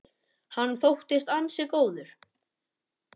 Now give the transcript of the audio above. Hann þóttist ansi góður.